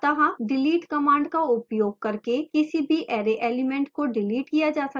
अतः delete command का उपयोग करके किसी भी array element को डिलीट किया जा सकता है